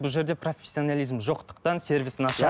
бұл жерде профессионализм жоқтықтан сервис нашар